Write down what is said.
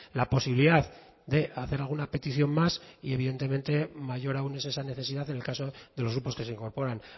la posibilidad de hacer alguna petición más y evidentemente mayor aún es esa necesidad en el caso de los grupos que se incorporan